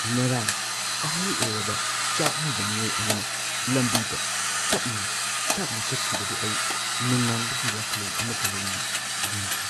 ꯉꯔꯥꯡ ꯑꯍꯜ ꯑꯣꯏꯔꯕ ꯆꯥꯛꯅꯤꯕ ꯃꯤꯑꯣꯏ ꯑꯃꯅ ꯂꯝꯕꯤꯗ ꯇꯞꯅ-ꯇꯞꯅ ꯆꯠꯈꯤꯕꯗꯨ ꯑꯩ ꯅꯨꯡꯅꯥꯡꯕꯒꯤ ꯋꯥꯈꯜꯂꯣꯟ ꯑꯃꯒ ꯂꯣꯏꯅꯅ ꯌꯦꯡꯈꯤ꯫